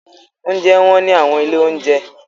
Oúnjẹ wọ́n ní àwọn ilé-oúnjẹ.